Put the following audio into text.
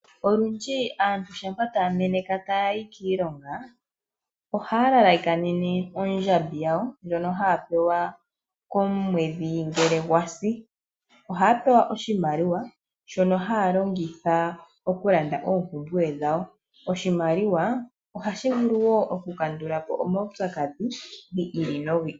Olundji aantu shampa taya meneka taya yi kiilonga, ohaya lalakanene ondjambi yawo ndjono haya pewa komwedhi ngele gwasi. Ohaya pewa oshimaliwa shono haya longitha oku landa oompumbwe dhawo. Oshimaliwa ohashi vulu wo oku kandulapo omaupyakadhi gi ili nogi ili.